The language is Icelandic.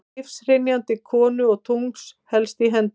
Lífshrynjandi konu og tungls helst í hendur.